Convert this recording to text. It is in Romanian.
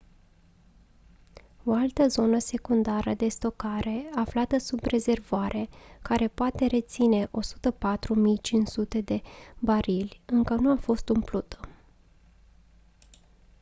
o altă zonă secundară de stocare aflată sub rezervoare care poate reține 104.500 de barili încă nu a fost umplută